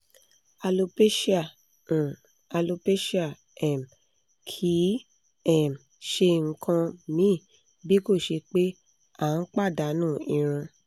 alopecia um alopecia um kì í um ṣe nǹkan míì bí kò ṣe pé a n padanu irun